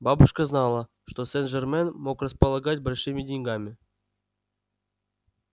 бабушка знала что сен-жермен мог располагать большими деньгами